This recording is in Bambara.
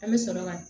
An bɛ sɔrɔ ka